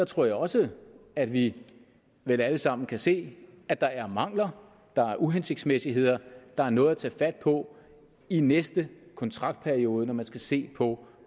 tror jeg også at vi vel alle sammen kan se at der er mangler der er uhensigtsmæssigheder der er noget at tage fat på i næste kontraktperiode når man skal se på